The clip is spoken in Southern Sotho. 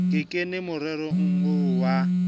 ke kene morerong oo wa